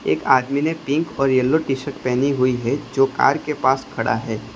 एक आदमी ने पिंक और येलो टी_शर्ट पहेनी हुई है जो कार के पास खड़ा है।